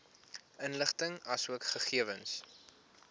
inligting asook gegewens